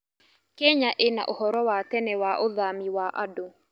Kenya ĩna ũhoro wa tene wa ũthami wa andũ.